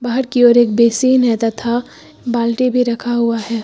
बाहर की ओर एक बेसिन है तथा बाल्टी भी रखा हुआ है।